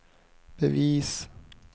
bevis